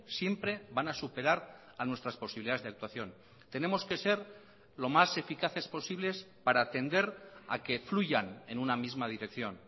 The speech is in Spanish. siempre van a superar a nuestras posibilidades de actuación tenemos que ser lo más eficaces posibles para atender a que fluyan en una misma dirección